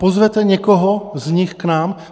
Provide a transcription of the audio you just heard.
Pozvete někoho z nich k nám?